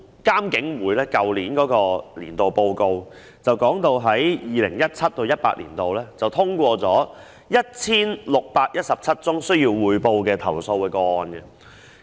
監警會在去年發表的工作報告中，提到 2017-2018 年度通過了 1,617 宗須匯報投訴個案。